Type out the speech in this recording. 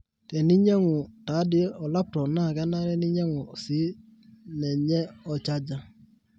teninyangu taadi olaptop naa kenare ninyangu sii ninyemonchsrger